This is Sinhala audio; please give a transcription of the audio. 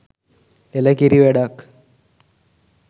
එළ කිරි වැඩක්